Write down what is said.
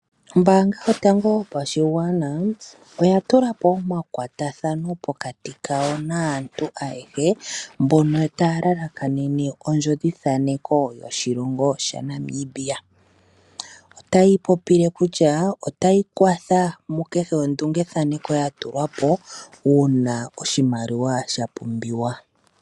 Ombaanga yotango yopashigwana oya tula po omakwatathano naantu mboka taa lalakanene ondjodhithaneko yoshilongo shaNamibia. Otayi popile kutya otai kwathele ku kehe ondungethaneko ya tulwa po uuna oshimaliwa sha pumbiwa.